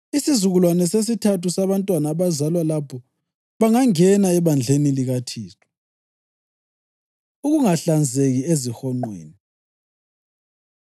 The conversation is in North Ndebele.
Isizukulwane sesithathu sabantwana abazalwa lapho bangangena ebandleni likaThixo.” Ukungahlanzeki Ezihonqweni